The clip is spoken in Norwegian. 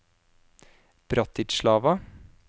Bratislava